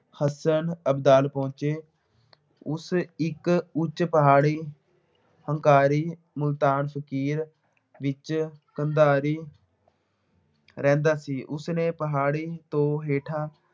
ਹਸਨ ਅਬਦਾਦ ਪਹੁੰਚੇ। ਉਸ ਇੱਕ ਉੱਚ ਪਹਾੜੀ ਹੰਕਾਰੀ ਮੁਲਤਾਨ ਫਕੀਰ ਵਿੱਚ ਕੰਧਾਰੀ ਰਹਿੰਦਾ ਸੀ। ਉਸਨੇ ਪਹਾੜੀ ਤੋਂ ਹੇਠਾਂ